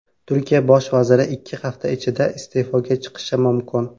Turkiya bosh vaziri ikki hafta ichida iste’foga chiqishi mumkin.